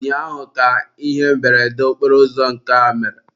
ụnyaahụ ka ihe mberede okporoụzọ nke a mere.